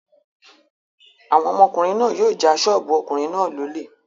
Àwọn ọmọkùnrin náà yóò ja ṣọ́ọ́bù ọkùnrin náà lólè.